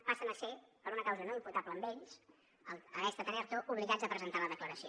passen a ser per una causa no imputable a ells haver estat en erto obligats a presentar la declaració